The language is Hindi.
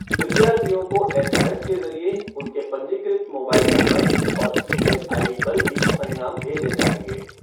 विद्यार्थियों को एसएमएस के जरिये उनके पंजीकृत मोबाइल नंबर और ई मेल आईडी पर भी परिणाम भेजे जाएंगे।